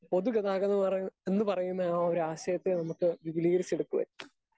Speaker 2 പൊതുഗതാഗതമെന്നറയ് എന്നുപറയുന്ന ആ ഒരാശയത്തെ നമ്മക്ക് വിപുലീകരിച്ചെടുക്കുവാൻ.